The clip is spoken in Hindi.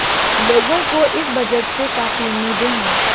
लोगों को इस बजट से काफी उम्मीदे हैं